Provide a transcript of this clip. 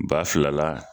Ba fila la